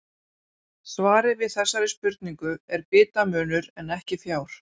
svarið við þessari spurningu er bitamunur en ekki fjár